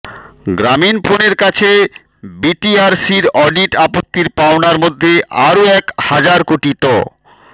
গ্রামীণফোনের কাছে বিটিআরসির অডিট আপত্তির পাওনার মধ্যে আরও এক হাজার কোটি ট